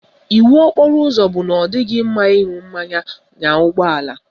Iwu okporo ụzọ bụ na ọ dịghị mma ịṅụ mmanya nya ụgbọala